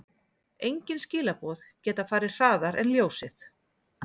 Engin skilaboð geta farið hraðar en ljósið.